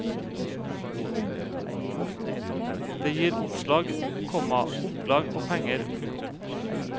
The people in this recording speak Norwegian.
Det gir oppslag, komma opplag og penger. punktum